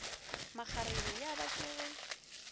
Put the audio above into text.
makgarebe ya ba ke ge